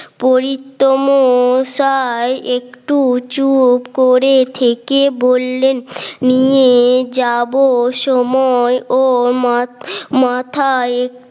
পরিত্য মশাই একটু চুপ করে থেকে বললেন নিয়ে যাব সময় ওর মাথায়